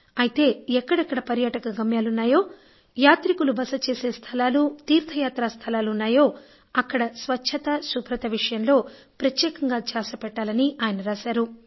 అయితే ఎక్కడెక్కడ పర్యాటక గమ్యాలు ఉన్నాయో యాత్రికులు బస చేసే స్థలాలు తీర్థ యాత్రా స్థలాలు వున్నాయో అక్కడ స్వచ్ఛత శుభ్రత విషయంలో ప్రత్యేకంగా ధ్యాస పెట్టాలి అని రాశారు